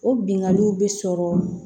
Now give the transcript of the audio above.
O binganiw bɛ sɔrɔ